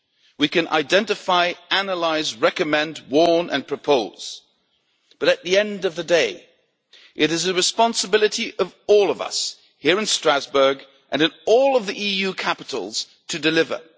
We can identify, analyse, recommend, warn and propose, but at the end of the day it is the responsibility of all of us, here in Strasbourg and in all of the EU capitals, to deliver.